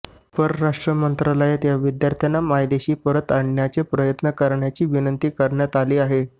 परराष्ट्र मंत्रालयात या विद्यार्थ्यांना मायदेशी आणण्याचे प्रयत्न करण्याची विनंती करण्यात आली आहे